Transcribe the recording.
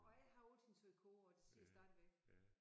Og jeg har altid sagt kurv og det siger jeg stadigvæk